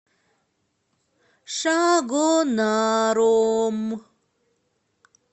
шагонаром